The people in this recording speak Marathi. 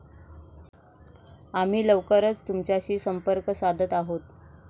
आम्ही लवकरच तुमच्याशी संपर्क साधत आहोत.